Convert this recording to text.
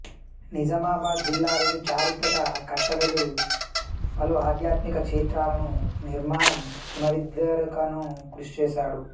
నిజామాబాద్ జిల్లాలోని చారిత్రక కట్టడాలు పలు అధ్యాత్మిక క్షేత్రాలను నిర్మాణం పునరుద్ధరణకు కృషి చేశాడు